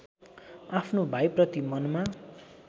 आफ्नो भाइप्रति मनमा